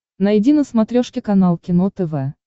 найди на смотрешке канал кино тв